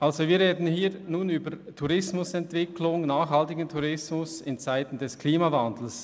Wir sprechen über nachhaltigen Tourismus in Zeiten des Klimawandels.